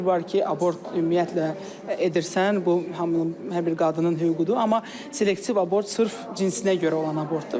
Bir var ki, abort ümumiyyətlə edirsən, bu hamının hər bir qadının hüququdur, amma selektiv abort sırf cinsinə görə olan abortdur.